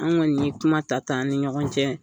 An kɔni ye kuma ta ta an ni ɲɔgɔn cɛ.